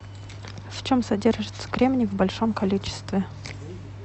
в чем содержится кремний в большом количестве